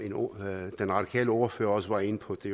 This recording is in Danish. den radikale ordfører også var inde på at det